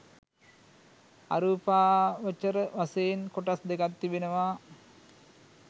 අරූපාවචර වශයෙන් කොටස් දෙකක් තිබෙනවා